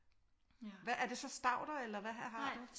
Hvad er det så stauder eller hvad har du?